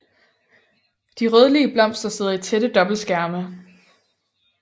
De rødlige blomster sidder i tætte dobbeltskærme